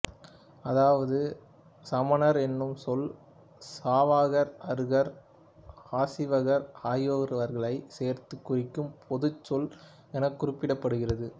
அதாவது சமணர் எனும் சொல் சாவகர் அருகர் ஆசீவகர் ஆகியவர்களைச் சேர்த்துக் குறிக்கும் பொதுச்சொல் எனக் குறிப்பிடுகிறது